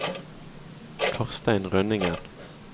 Karstein Rønningen